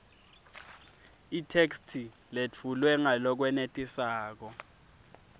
itheksthi letfulwe ngalokwenetisako